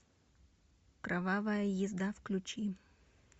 кровавая езда включи